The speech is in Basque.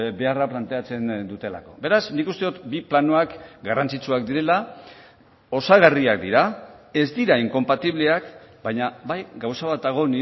beharra planteatzen dutelako beraz nik uste dut bi planoak garrantzitsuak direla osagarriak dira ez dira inkonpatibleak baina bai gauza bat dago